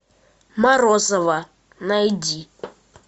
морозова найди